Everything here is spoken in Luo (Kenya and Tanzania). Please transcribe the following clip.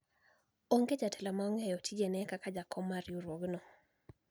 onge jatelo ma ong'eyo tijene kaka jakom mar riwruogno